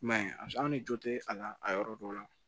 I m'a ye a ni jo tɛ a la a yɔrɔ dɔw la